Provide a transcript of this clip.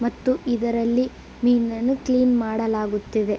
ಮತ್ತು ಇದರಲ್ಲಿ ಮೀನನ್ನು ಕ್ಲೀನ್ ಮಾಡಲಾಗುತ್ತಿದೆ.